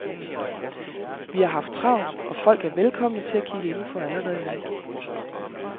Vi har haft travlt og folk er velkomne til at kigge indenfor allerede nu.